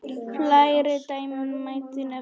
Fleiri dæmi mætti nefna.